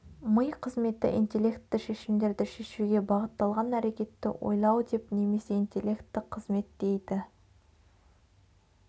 ми қызметі интелектті шешімдерді шешуге бағытталған әрекетті ойлау деп немесе интелектті қызмет дейді